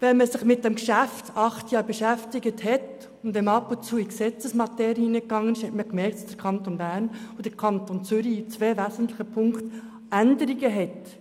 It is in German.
Wenn man sich während acht Jahren mit dem Geschäft beschäftigt und dabei Gesetze konsultiert hat, kann man erkennen, dass sich der Kanton Zürich und der Kanton Bern in zwei wesentlichen Punkten unterscheiden.